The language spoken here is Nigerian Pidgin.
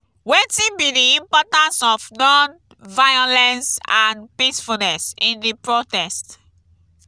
wetin be di importance of non-violence and peacefulness in di protest?